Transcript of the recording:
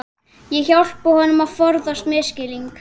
Ég hjálpa honum að forðast misskilning.